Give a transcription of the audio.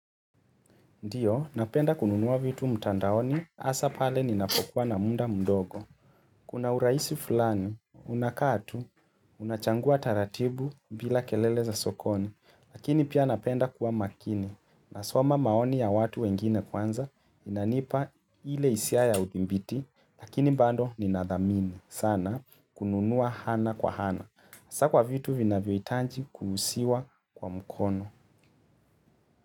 Ndiyo, napenda kununua vitu mtandaoni, hasa pale ninapokuwa na muda mdogo. Kuna urahisi fulani, unakaa tu, unachangua taratibu bila kelele za sokoni, lakini pia napenda kuwa makini. Nasoma maoni ya watu wengine kwanza, inanipa ile hisia ya udhibiti, lakini bado ninadhamini. Sana, kununua ana kwa ana. Hasa kwa vitu vinvyohitaji kuguzwa kwa mkono.